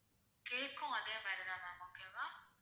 cake ம் அதே மாதிரி தான் ma'am okay வா